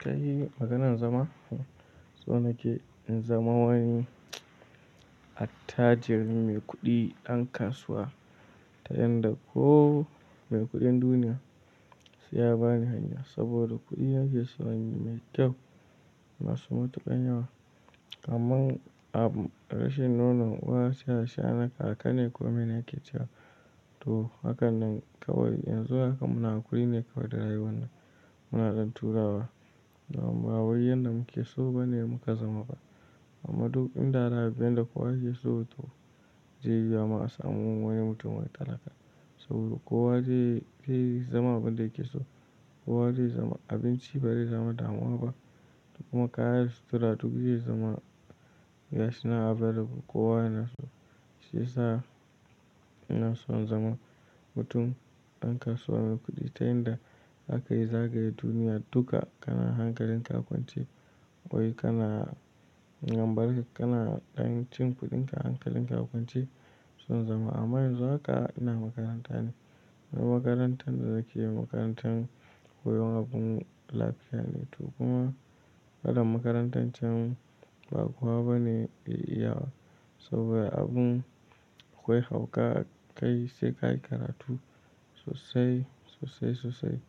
Kai maganan zama? So nake in zama wani attajiri mai kuɗi ɗan kasuwa ta yanda ko mai kuɗin duniya sai ya bani hanya saboda kuɗin nake so inyi mai kyau masu matuƙan yawa. Amma a rashin nonon uwa sai asha na kaka ne komai nake cewa to hakan nan kawai yanzu haka muna hakuri ne kawai da rayuwar nan. Muna ɗan turawa ba waiyan da muke so ba ne muka zama ba. Amma duk inda rabin da kowa yake so to zai yi wuyama a samu wani mutum wai talaka. Saboda kowa zai fi zama abin da yake so. Kowa zai zama abinci ba zai zama damuwa ba. Kuma kaya sutura duk zai zama yana available. Kowa yana so shi sa yana son zama mutum ɗan kasuwa mai kuɗi ta yanda zaka iya zagaye duniya duka kana hankalin ka kwance wai kana gambale kana ɗan cin kuɗinka hankalin ka a kwance sun zama. Amma yan zu haka ina makaranta ne. Wannan makarantar da nake yi makarantar koyon abun lafiya ne. Kuma kalan makarantar can ba kowa bane zai iyaba saboda abun akwai hauka kai sai ka yi karatu sosai, sosai, sosai.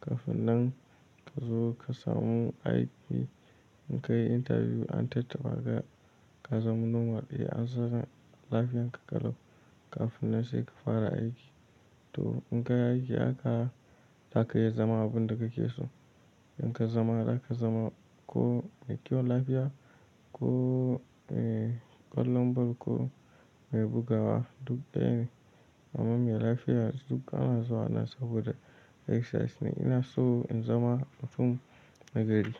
Kafin nan ka zo ka samu aiki in ka yi interview an tattaɓa ka, ka zama normal e an san lafiyan ka ƙalau kafin nan sai ka fara aiki. To in ka yi aiki haka za ka iya zama abun da kake so. In ka zama haka za ma ko mai kyau lafiya ko, eh ƙwallon ball ko mai bugawa duk ɗaya ne. Amma me lafiya duk ana zuwa nan saboda exercise ne. Ina so in zama mutum nagari.